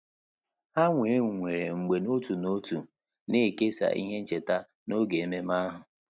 Há wee nwere mgbe n’òtù n’òtù nà-èkèsá ihe ncheta n’ógè ememe ahụ.